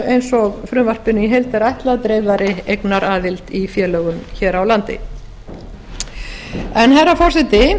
eins og frumvarpinu í heild er ætlað dreifðari eignaraðild í félögum hér á landi herra forseti